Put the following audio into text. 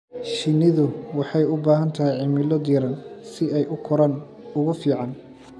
Shinnidu waxay u baahan tahay cimilo diiran si ay u koraan ugu fiican.